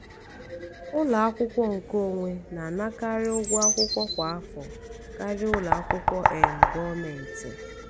ụlọ akwụkwọ nkeonwe na-anakarị ụgwọ akwụkwọ kwa afọ karịa ụlọ akwụkwọ um gọọmentị